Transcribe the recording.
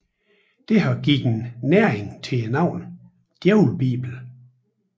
Det har givet næring til navnet Djævlebibelen